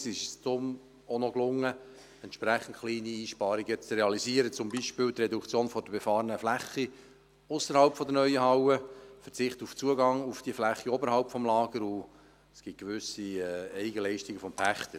Es ist uns deshalb auch gelungen, entsprechend kleine Einsparungen zu realisieren, zum Beispiel die Reduktion der befahrenen Fläche ausserhalb der neuen Halle, der Verzicht auf den Zugang zur Fläche oberhalb des Lagers, und es gibt gewisse Eigenleistungen des Pächters.